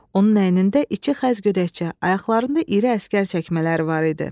Onun əynində içi xəz gödəkçə, ayaqlarında iri əsgər çəkmələri var idi.